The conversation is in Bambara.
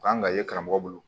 Kan ka ye karamɔgɔ bolo